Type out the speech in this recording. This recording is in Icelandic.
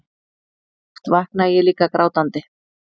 Oft vaknaði ég líka grátandi.